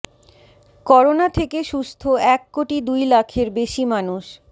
corona থেকে সুস্থ এক কোটি দুই লাখের বেশি মানুষ